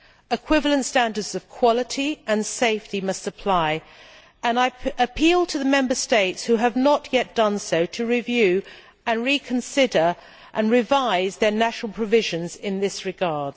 Equivalent standards of quality and safety must apply, and I appeal to the Member States who have not yet done so to review, reconsider and revise their national provisions in this regard.